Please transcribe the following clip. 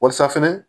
Walisa fɛnɛ